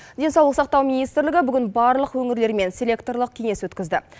денсаулық сақтау министрлігі бүгін барлық өңірлермен селекторлық кеңес өткізді